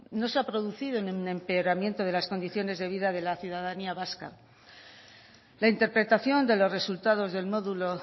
no se ha producido ningún empeoramiento de las condiciones de vida de la ciudadanía vasca la interpretación de los resultados del módulo